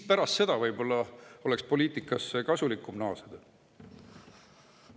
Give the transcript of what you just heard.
Pärast seda oleks võib-olla kasulikum poliitikasse naasta.